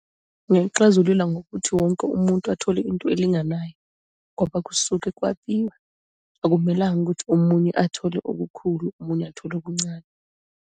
Ngingayixazulula ngokuthi wonke umuntu athole into elinganayo, ngoba kusuke kwabiwa, akumelanga ukuthi omunye athole okukhulu, omunye athole okuncane.